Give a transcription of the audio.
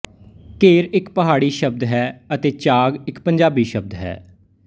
ਘੇਰ ਇੱਕ ਪਹਾੜੀ ਸ਼ਬਦ ਹੈ ਅਤੇ ਚਾਂਗ ਇੱਕ ਪੰਜਾਬੀ ਸ਼ਬਦ ਹੈ